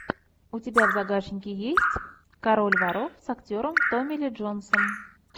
у тебя в загашнике есть король воров с актером томи ли джонсом